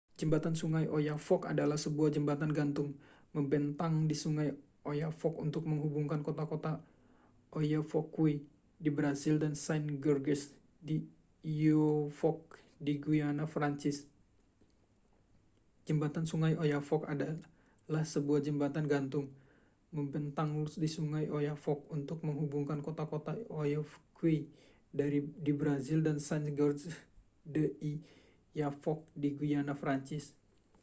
jembatan sungai oyapock adalah sebuah jembatan gantung membentang di sungai oyapock untuk menghubungkan kota-kota oiapoque di brasil dan saint-georges de i'oyapock di guyana prancis